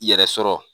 I yɛrɛ sɔrɔ